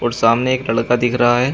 सामने एक लड़का दिख रहा है।